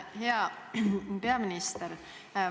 Hea peaminister!